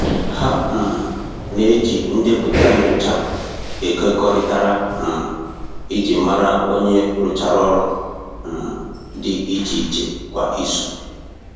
Ha um n'eji ndepụta nyocha ekekọrịtara um iji mara onye rụchara ọlụ um di iche iche kwa izu.